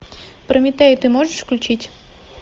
прометея ты можешь включить